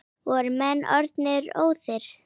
Voru menn orðnir óðir!